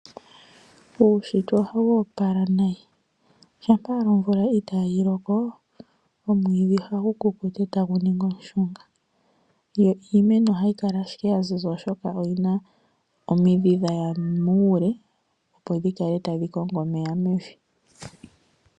Uunshitwe ohawu opala nayi. Shampa omvula ita yi loko omwiidhi ohagu kukuta e tagu ningi omushunga. Yo iimeno ohayi kala ashike ya ziza oshoka omidhi dha ya muule opo dji kale tadhi kongo omeya mevi.